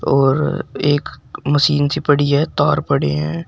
और एक मशीन सी पड़ी है तार पड़े हैं।